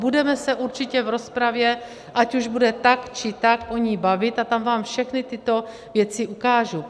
Budeme se určitě v rozpravě, ať už bude tak, či tak, o ní (?) bavit a tam vám všechny tyto věci ukážu.